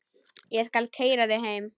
Ég skal keyra þig heim.